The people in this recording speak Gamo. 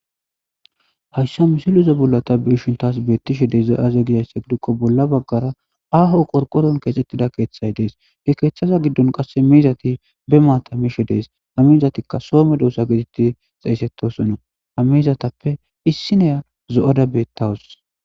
Hayisan misilezan bola ta beishinni tasi betishe dizayi aze gizayisa gidikko bola bagara ahoni qoriqoroni keththetida kethayi deesi he keththaza giddoni mizati be mata mishshe diza ha mizatikka Soho medosa getetidi xesetisoona ha mizatappe issiniya zooada betawusi